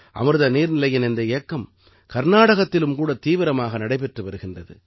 அமிர்த நீர்நிலையின் இந்த இயக்கம் கர்நாடகத்திலும் கூட தீவிரமாக நடைபெற்று வருகின்றது